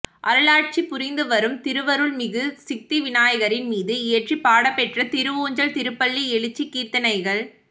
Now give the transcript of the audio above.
அருளாட்சி புரிந்துவரும் திருவருள்மிகு சித்திவிநாயகரின் மீது இயற்றிப் பாடப்பெற்ற திருவூஞ்சல் திருப்பள்ளி யெழுச்சி கீர்த்தனைகள்